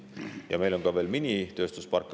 Ja meil on ka veel minitööstusparke.